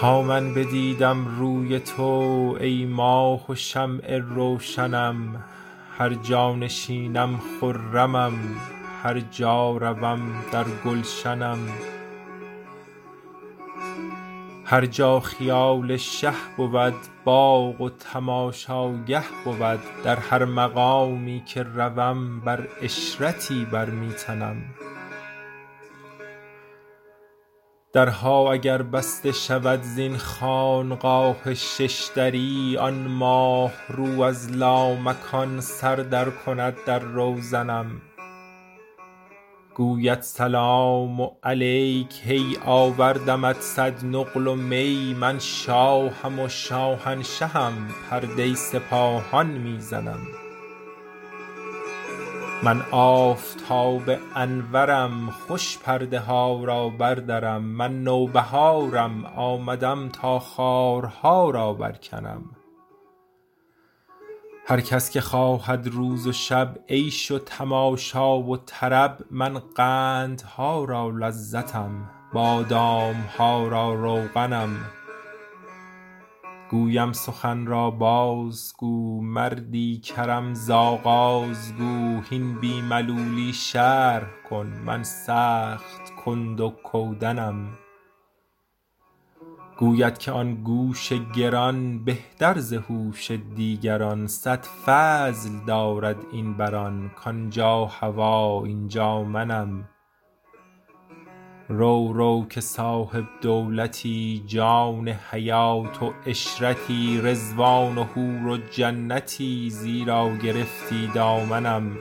تا من بدیدم روی تو ای ماه و شمع روشنم هر جا نشینم خرمم هر جا روم در گلشنم هر جا خیال شه بود باغ و تماشاگه بود در هر مقامی که روم بر عشرتی بر می تنم درها اگر بسته شود زین خانقاه شش دری آن ماه رو از لامکان سر درکند در روزنم گوید سلام علیک هی آوردمت صد نقل و می من شاهم و شاهنشهم پرده سپاهان می زنم من آفتاب انورم خوش پرده ها را بردرم من نوبهارم آمدم تا خارها را برکنم هر کس که خواهد روز و شب عیش و تماشا و طرب من قندها را لذتم بادام ها را روغنم گویم سخن را بازگو مردی کرم ز آغاز گو هین بی ملولی شرح کن من سخت کند و کودنم گوید که آن گوش گران بهتر ز هوش دیگران صد فضل دارد این بر آن کان جا هوا این جا منم رو رو که صاحب دولتی جان حیات و عشرتی رضوان و حور و جنتی زیرا گرفتی دامنم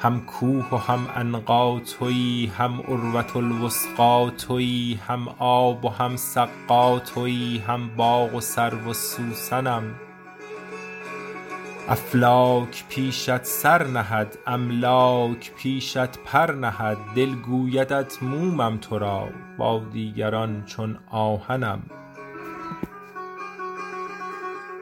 هم کوه و هم عنقا توی هم عروه الوثقی توی هم آب و هم سقا توی هم باغ و سرو و سوسنم افلاک پیشت سر نهد املاک پیشت پر نهد دل گویدت مومم تو را با دیگران چون آهنم